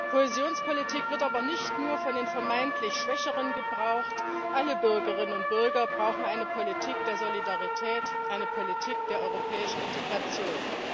Kohäsionspolitik wird aber nicht nur von den vermeintlich Schwächeren gebraucht alle Bürgerinnen und Bürger brauchen eine Politik der Solidarität, eine Politik der europäischen Integration!